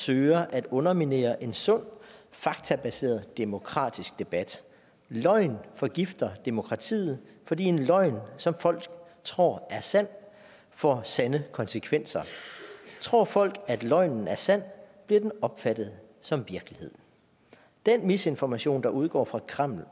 søger at underminere en sund faktabaseret demokratisk debat løgn forgifter demokratiet fordi en løgn som folk tror er sand får sande konsekvenser tror folk at løgnen er sand bliver den opfattet som virkelighed den misinformation der udgår fra kreml